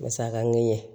Masakan ɲɛ